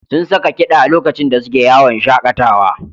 Sun saka kiɗa lokacin da suke yawon shaƙatawa.